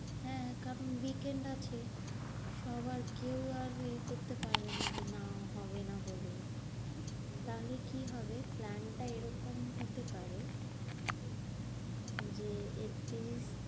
হ্যাঁ কারণ weekend আছে। সবার কেউ আর এ করতে পারবে না যে না হবে না বলে। তাহলে কি হবে? plan টা এরকম হতে পারে, যে একতিরিশ